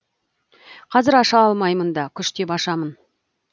қазір аша алмаймын да күштеп ашамын